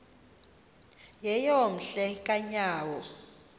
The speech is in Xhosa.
yeyom hle kanyawo